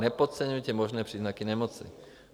Nepodceňujte možné příznaky nemoci.